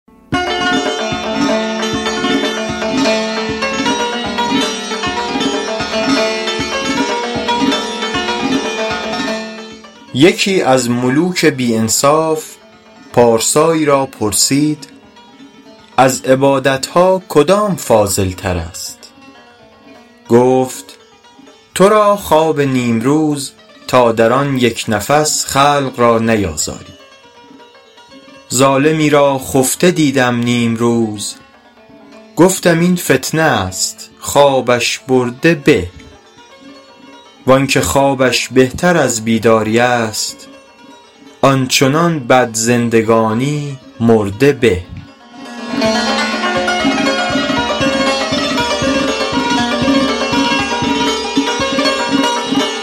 یکی از ملوک بی انصاف پارسایی را پرسید از عبادت ها کدام فاضل تر است گفت تو را خواب نیمروز تا در آن یک نفس خلق را نیازاری ظالمی را خفته دیدم نیمروز گفتم این فتنه است خوابش برده به وآنکه خوابش بهتر از بیداری است آن چنان بد زندگانی مرده به